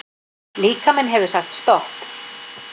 Líkaminn hefur sagt stopp